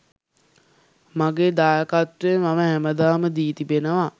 මගේ දායකත්වය මම හැමදාම දී තිබෙනවා.